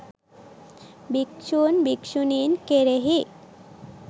භික්‍ෂූන් භික්‍ෂුණීන් කෙරෙහි